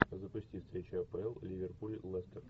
запусти встречу апл ливерпуль лестер